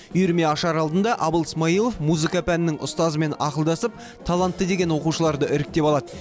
үйірме ашар алдында абыл смайылов музыка пәнінің ұстазымен ақылдасып талантты деген оқушыларды іріктеп алады